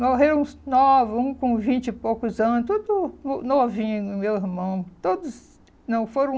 Morreram uns novos, um com vinte e poucos anos, tudo novinho, meu irmão, todos não foram